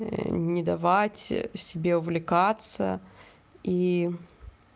не давать себе увлекаться и